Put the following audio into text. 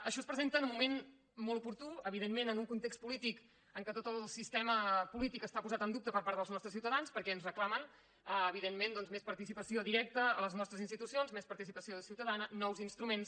això es presenta en un moment molt oportú evidentment en un context polític en què tot el sistema polític està posat en dubte per part dels nostres ciutadans perquè ens reclamen evidentment doncs més participació directa a les nostres institucions més participació ciutadana nous instruments